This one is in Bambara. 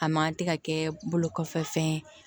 A man tɛ ka kɛ bolo kɔfɛ fɛn ye